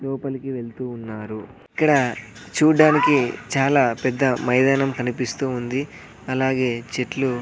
లోపలికి వెళుతూ ఉన్నారు ఇక్కడ చూడ్డానికి చాలా పెద్ద మైదానం కనిపిస్తూ ఉంది అలాగే చెట్లు.